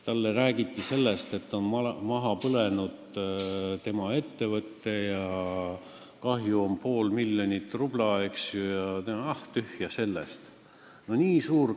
Talle räägiti, et tema ettevõte on maha põlenud ja kahju on pool miljonit rubla, tema vastas: "Ah, tühja sellest!